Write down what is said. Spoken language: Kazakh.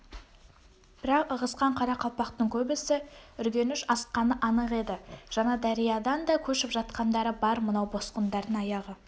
бірақ ығысқан қара-қалпақтың көбісі үргеніш асқаны анық еді жаңадариядан да көшіп жатқандары бар мынау босқындардың аяғы